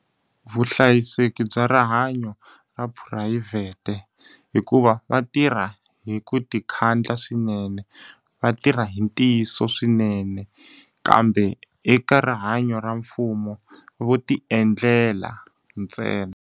Vuhlayiseki bya rihanyo ra phurayivhete. Hikuva va tirha hi ku ti khandla swinene, va tirha hi ntiyiso swinene. Kambe eka rihanyo ra mfumo vo ti endlela ntsena.